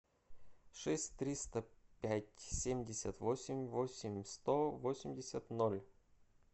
шесть триста пять семьдесят восемь восемь сто восемьдесят ноль